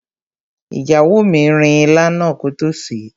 Ìyàwó mi rin ilá náà kótó sèé.